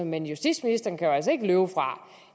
men justitsministeren kan jo altså ikke løbe fra